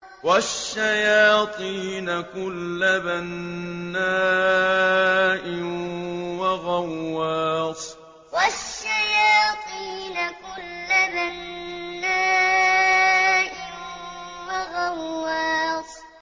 وَالشَّيَاطِينَ كُلَّ بَنَّاءٍ وَغَوَّاصٍ وَالشَّيَاطِينَ كُلَّ بَنَّاءٍ وَغَوَّاصٍ